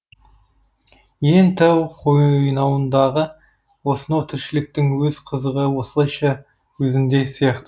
иен тау қойнауындағы осынау тіршіліктің өз қызығы осылайша өзінде сияқты